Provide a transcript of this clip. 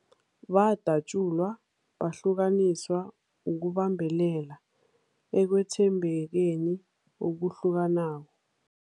Badatjulwa, bahlukaniswa ukubambelela ekwethembekeni okuhlukanako.